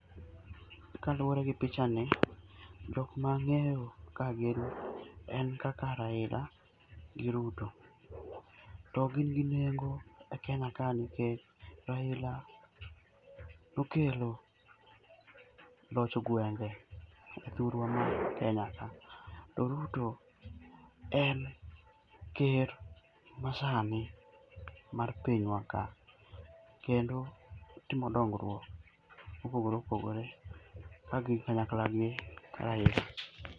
Kaluore gi pichani ,jok ma ang'eyo kae gin ,en kaka Raila gi Ruto. To gin gi nengo e Kenya kae nikech Raila nokelo loch gwenge e thurwa ma Kenya ka to Ruto en ker masani mar pinywa ka, kendo otimo dongruok mopogore kagin kanyakla gi Raila.